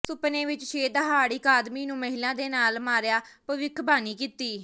ਸੁਪਨੇ ਵਿੱਚ ਸ਼ੇਰ ਦਹਾੜ ਇੱਕ ਆਦਮੀ ਨੂੰ ਮਹਿਲਾ ਦੇ ਨਾਲ ਮਾਰਿਆ ਭਵਿੱਖਬਾਣੀ ਕੀਤੀ